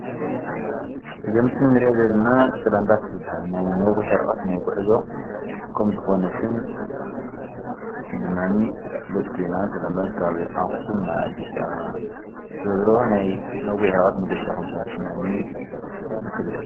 እዛ ምስሊ ንሪኣ ዘለና ሰላም ባስ ትብሃል። ናይ ነዊሕ ርሕቀት ናይ ጉዕዞ ከም ዝኾነትን ድማኒ እትፍለጥ ኮይና ሰላም ባስ ካብ ኣኽሱም ናብ ኣዲስ ኣበባ ዝሮዝሮ ናይ ነዊሕ ርሕቀት መገሻ ከምዝኾነ ትስምዐኒ ትፍለጥ።